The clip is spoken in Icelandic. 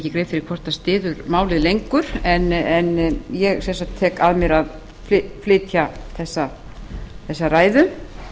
fyrir hvort styður málið lengur en ég sem sagt tek að mér að flytja þessa ræðu